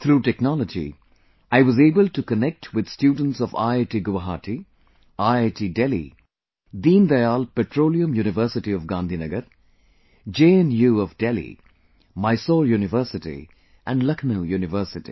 Through technology I was able to connect with students of IIT Guwahati, IITDelhi, Deendayal Petroleum University of Gandhinagar, JNU of Delhi, Mysore University and Lucknow University